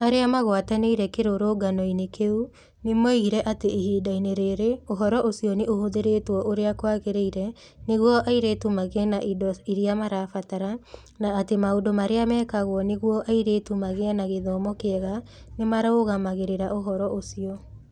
Arĩa magwatanĩire kĩrũrũngano-inĩ kĩu nĩ moigire atĩ ihinda-inĩ rĩrĩ ũhoro ũcio nĩ ũhũthĩrĩtwo ũrĩa kwagĩrĩire nĩguo airĩtu magĩe na indo iria marabatara, na atĩ maũndũ marĩa mekagwo nĩguo airĩtu magĩe na gĩthomo kĩega nĩ marũmagĩrĩra ũhoro ũcio.